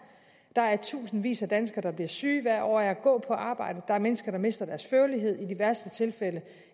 der er tusindvis af danskere der bliver syge hvert år af at gå på arbejde der er mennesker der mister deres førlighed i de værste tilfælde